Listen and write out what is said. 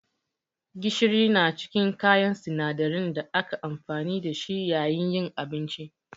Gishiri na cikin kayan sinadarin da ake amfani da shi yayin yin abinci.